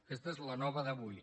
aquesta és la nova d’avui